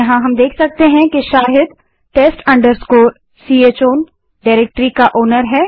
यहाँ हम देख सकते हैं कि शाहिद test chown डाइरेक्टरी का मालिकओनर है